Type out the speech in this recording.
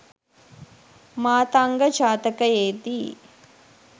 මාතංග ජාතකයේ දී